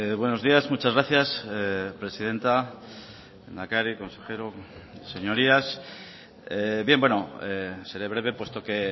buenos días muchas gracias presidenta lehendakari consejero señorías bien seré breve puesto que